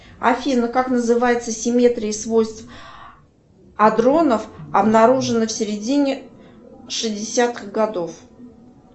афина как называется симметрия свойств адронов обнаружена в середине шестидесятых годов